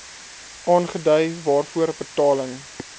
aangedui waarvoor betaling